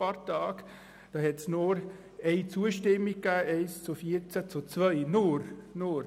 Da gab es nur eine zustimmende Stimme, das heisst 1 JaStimme, 14 Nein-Stimmen und 2 Enthaltungen.